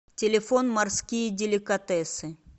телефон морские деликатесы